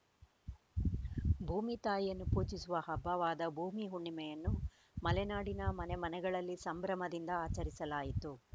ಭೂಮಿ ತಾಯಿಯನ್ನು ಪೂಜಿಸುವ ಹಬ್ಬವಾದ ಭೂಮಿ ಹುಣ್ಣಿಮೆಯನ್ನು ಮಲೆನಾಡಿನ ಮನೆ ಮನೆಗಳಲ್ಲಿ ಸಂಭ್ರಮದಿಂದ ಆಚರಿಸಲಾಯಿತು